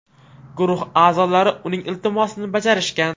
Guruh a’zolari uning iltimosini bajarishgan.